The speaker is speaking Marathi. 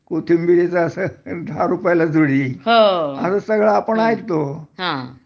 कोथिंबिरीचा असं दहा रुपयाला जुडी असं सगळं आपण ऐकतो